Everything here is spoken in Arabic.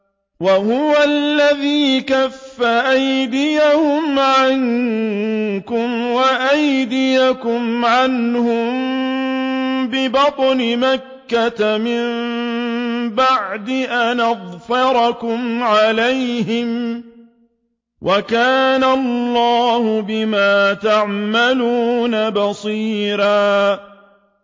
وَهُوَ الَّذِي كَفَّ أَيْدِيَهُمْ عَنكُمْ وَأَيْدِيَكُمْ عَنْهُم بِبَطْنِ مَكَّةَ مِن بَعْدِ أَنْ أَظْفَرَكُمْ عَلَيْهِمْ ۚ وَكَانَ اللَّهُ بِمَا تَعْمَلُونَ بَصِيرًا